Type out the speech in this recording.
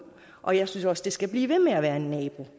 og jeg synes også det skal blive ved med at være en nabo